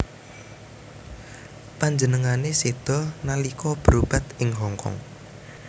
Panjenengané séda nalika berobat ing Hong Kong